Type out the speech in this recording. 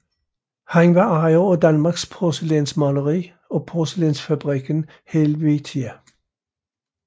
Han var ejer af Danmarks Porcelænsmaleri og Porcelænsfabrikken Helvetia